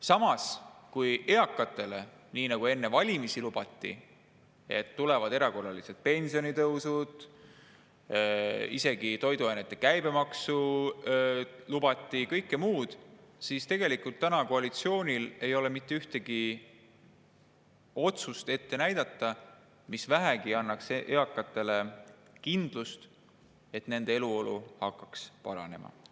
Samas, eakatele lubati enne valimisi, et tulevad erakorralised pensionitõusud, isegi toiduainete käibemaksu lubati ja kõike muud, aga tegelikult ei ole koalitsioonil täna ette näidata mitte ühtegi otsust, mis vähegi annaks eakatele kindlust, et nende eluolu hakkaks paranema.